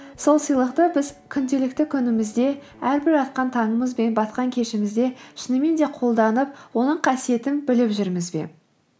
сол сыйлықты біз күнделікті күнімізде әрбір атқан таңымыз бен батқан кешімізде шынымен де қолданып оның қасиетін біліп жүрміз бе